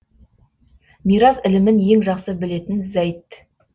мирас ілімін ең жақсы білетін зәйд